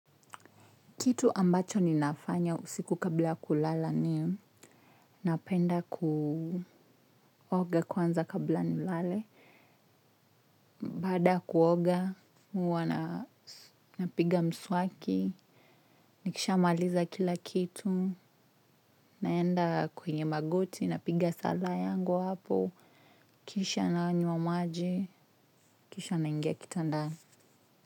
Kitu ambacho ninafanya usiku kabla kulala ni napenda kuoga kwanza kabla nilale baada kuoga, huwa napiga mswaki, nikishamaliza kila kitu, naenda kwenye magoti, napiga sala yangu hapo, kisha nanywa maji, kisha naingia kitandani.